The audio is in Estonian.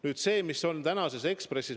Nüüd sellest, mis on tänases Ekspressis.